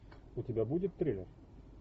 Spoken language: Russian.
у тебя будет триллер